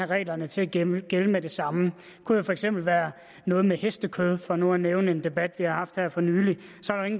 reglerne til at gælde gælde med det samme det kunne for eksempel være noget med hestekød for nu at nævne en debat vi har haft her for nylig